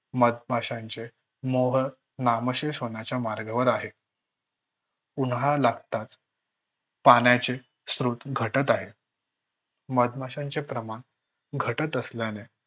मधमाशांचे मोह नामशेष होण्याच्या मार्गावर आहे. उन्हाळा लागताच पाण्याचे स्रोत घटत आहेत. मधमाशांचे प्रमाण घटत असल्याने